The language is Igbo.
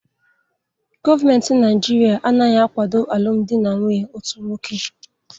Gọọmenti Naijiria anaghị akwado alụmdi na nwunye otu nwoke